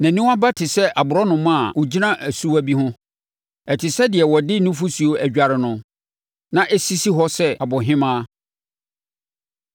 Nʼaniwa aba te sɛ aborɔnoma a ɔgyina asuwa bi ho; ɛte sɛ deɛ wɔde nufosuo adware no, na ɛsisi hɔ sɛ abohemaa.